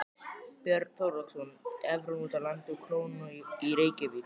Björn Þorláksson: Evran úti á landi og krónan í Reykjavík?